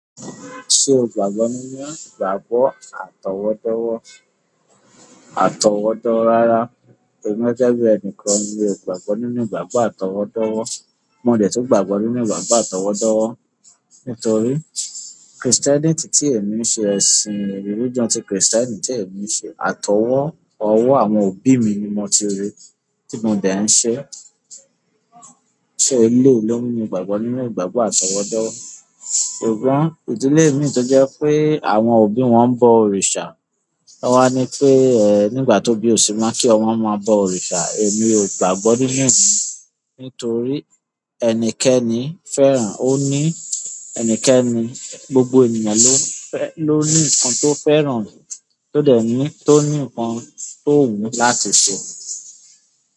Ṣé o gbàgbọ́ nínú gbàgbọ́ àtọwọ́dọ́wọ́, rara? Emi gẹ́gẹ́ bi ẹnikan mi o gbàgbọ́ nínú ìgbàgbọ́ àtọwọ́dọ́wọ́? Mo dẹ̀ tun gbàgbọ́ nínú ìgbàgbọ́ àtọwọ́dọ́wọ́. Nítorí kirisitenití ti èmi ń ṣe, ẹ̀sìn rilijionu ti kìrìsìtẹ́nì tí èmi ń ṣe, àtọwọ́ àwọn òbí mi ni mo ti rí, tí mo dẹ̀ ń ṣe. Ṣo eleyi ló ń mú mi gbàgbọ́ nínú ìgbàgbọ́ àtọwọ́dọ́wọ́? Ṣùgbọ́n ìdílé mii tó jẹ́ pé àwọn òbí wọn ń bọ òrìṣà. Won a ni pe nígbà tóbi o se mo ki ọmọ maa bo òrìṣà. Èmi ò gbàgbọ́ nínú e nítorí gbogbo ènìyàn ló ní nǹkan tó fẹ́ràn, tó dẹ̀ ní nǹkan tó wù ú láti ṣe.